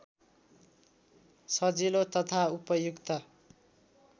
सजिलो तथा उपयुक्त